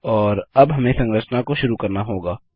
और अब हमें संरचना को शुरू करना होगा